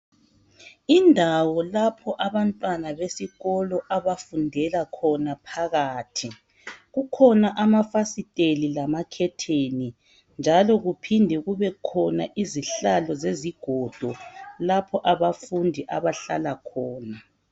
indawo laph abantwana besikolo bafundela khona phakathi kukhona amafasiteli lamakhetheni njalo kuphinde kubekhona izihlalo zezigodo lapho abafundi abahlal khona